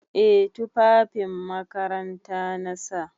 Eh tufafin makaranta na sa.